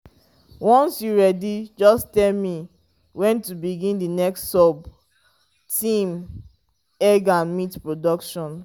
once you ready just tell me when to begin the next sub-theme egg and meat production.